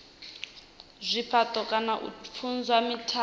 zwifhato kana u pfulusa mithara